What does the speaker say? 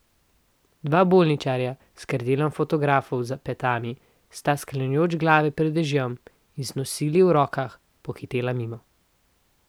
Dva bolničarja, s krdelom fotografov za petami, sta, sklanjajoč glave pred dežjem in z nosili v rokah, pohitela mimo.